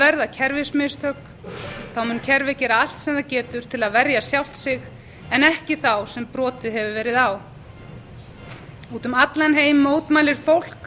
verða kerfismistök mun kerfið gera allt sem það getur til að verja sjálft sig en ekki þá sem brotið hefur verið á úti um allan heim mótmælir fólk